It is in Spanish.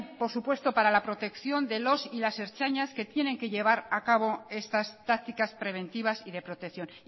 por supuesto para la protección de los y las ertzainas que tienen que llevar a cabo estas tácticas preventivas y de protección